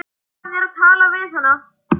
Lofaðu mér að tala við hana.